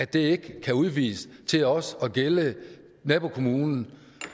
den ikke udvides til også at gælde nabokommunen